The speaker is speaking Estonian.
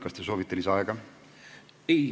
Kas te soovite lisaaega?